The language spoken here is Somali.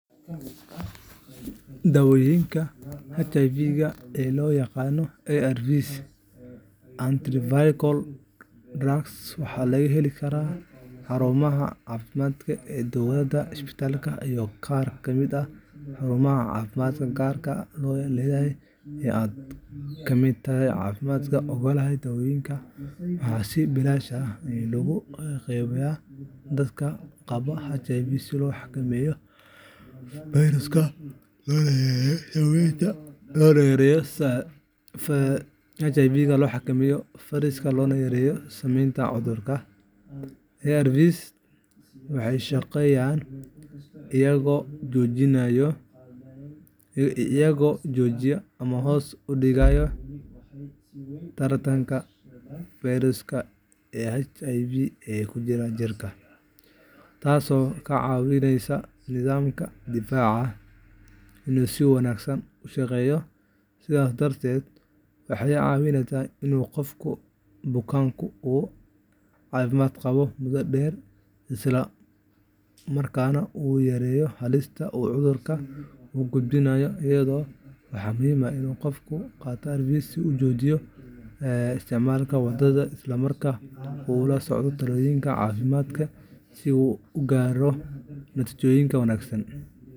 Dawooyinka HIV-ga ee loo yaqaan ARVs Antiretroviral drugs waxaa laga heli karaa xarumaha caafimaadka ee dowladda, isbitaalada, iyo qaar ka mid ah xarumaha caafimaadka gaarka loo leeyahay ee ay Kementari Caafimaadka oggolaatay. Dawooyinkan waxaa si bilaash ah loogu qaybiyaa dadka qaba HIVga si loo xakameeyo fayraska, loona yareeyo saamaynta cudurka. ARVska waxay u shaqeeyaan iyagoo joojiya ama hoos u dhigaya taranka fayraska HIVga ee ku jira jirka, taasoo ka caawisa nidaamka difaaca inuu si wanaagsan u shaqeeyo. Sidaas darteed, waxay caawiyaan in qofka bukaanku uu caafimaad qabo muddo dheer, isla markaana uu yareeyo halista uu cudurka u gudbin karo dadka kale. Waxaa muhiim ah in qofka qaata ARVska uu si joogto ah u isticmaalo dawada, isla markaana uu la socdo talooyinka caafimaadka si uu u gaaro natiijooyin wanaagsan.